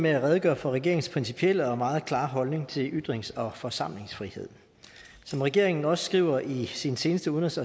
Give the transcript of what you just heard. med at redegøre for regeringens principielle og meget klare holdning til ytrings og forsamlingsfrihed som regeringen også skriver i sin seneste udenrigs